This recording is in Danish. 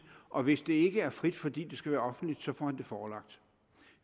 og hvis det ikke er frit fordi det skal være offentligt så får han det forelagt